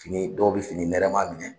Fini dɔw bɛ fini nɛrɛ ma minɛ.